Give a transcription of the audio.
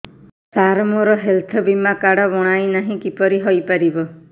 ସାର ମୋର ହେଲ୍ଥ ବୀମା କାର୍ଡ ବଣାଇନାହିଁ କିପରି ହୈ ପାରିବ